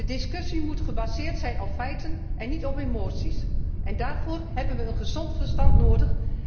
De discussie moet gebaseerd zijn op feiten en niet op emoties en daarvoor hebben we gezond verstand nodig.